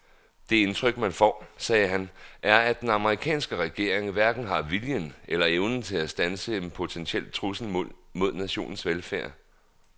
Det indtryk man får, sagde han, er at den amerikanske regering hverken har viljen eller evnen til at standse en potentiel trussel mod nationens velfærd.